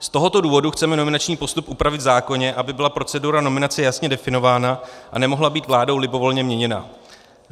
Z tohoto důvodu chceme nominační postup upravit v zákoně, aby byla procedura nominace jasně definována a nemohla být vládou libovolně měněna.